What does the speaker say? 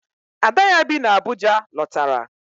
Ada ya bi n'Abuja lọtara.